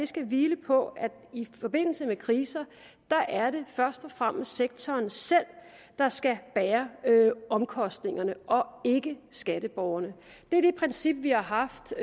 skal hvile på at i forbindelse med kriser er det først og fremmest sektoren selv der skal bære omkostningerne og ikke skatteborgerne det er det princip vi har haft